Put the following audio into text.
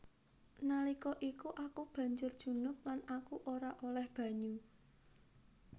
Nalika iku aku banjur junub lan aku ora olèh banyu